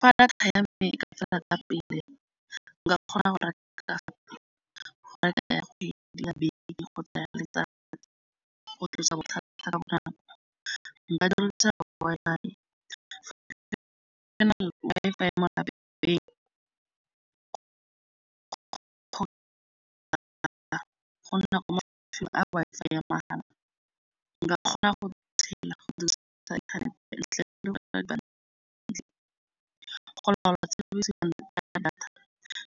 Fa data ya me e ka fela ka pele, nka kgona go reka data ya kgwedi, ya beke kgotsa ya letsatsi. Go tlosa nka dirisa Wi-Fi Wi-Fi ya mo lelapeng Wi-Fi ya mahala. Nka kgona go ya data.